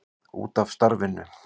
Út af starfinu.